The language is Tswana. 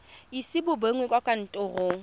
ise bo begwe kwa kantorong